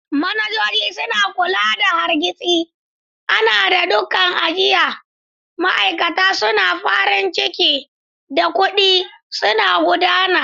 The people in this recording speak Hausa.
Manajoji suna kula da hargitsi, adana ɗakunan ajiya, ma'aikata suna farin ciki, da kuɗi suna gudana.